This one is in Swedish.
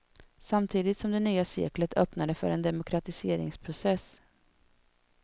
Samtidigt som det nya seklet öppnade för en demokratiseringsprocess.